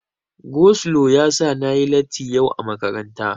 Go slo yasa na yi latti yau a makaranta.